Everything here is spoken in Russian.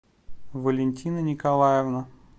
валентина николаевна